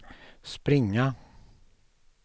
springa